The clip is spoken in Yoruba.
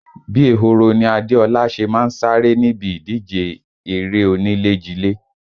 Bí ehoro ni Adéọlá ṣe má ń sáré níbi ìdíje erée onílé jilé